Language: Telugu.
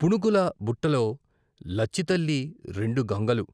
పుణుకుల బుట్టలో లచ్చితల్లి రెండు గంగలు